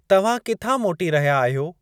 तव्हां किथा मोटी रहिया आहियो?